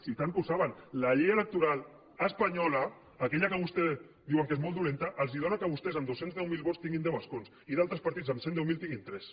home i tant que ho saben panyola aquella que vostès diuen que és molt dolenta els dóna que vostès amb dos cents i deu mil vots tinguin deu escons i altres partits amb cent i deu mil en tinguin tres